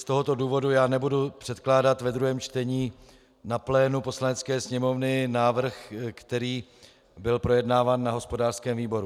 Z tohoto důvodu tedy nebudu předkládat v druhém čtení na plénu Poslanecké sněmovny návrh, který byl projednáván na hospodářském výboru.